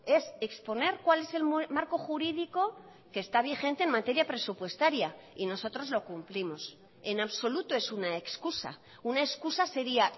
es exponer cuál es el marco jurídico que está vigente en materia presupuestaria y nosotros lo cumplimos en absoluto es una excusa una excusa sería